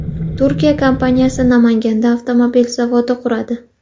Turkiya kompaniyasi Namanganda avtomobil zavodi quradi.